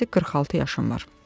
"Cəmicə 46 yaşım var."